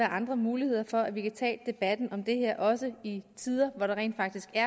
andre muligheder for at vi kan tage debatten om det her også i tider hvor der rent faktisk jeg